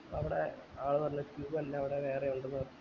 അവടെ ആൾ പറഞ്ഞു queue അല്ല അവടെ വേറെ ഇണ്ട് പറഞ്ഞു